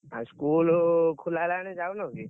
ଆଉ school ହେଲାଣି ଯାଉନୁ କି?